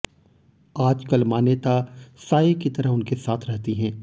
आजकल मान्यता साये की तरह उनके साथ रहती हैं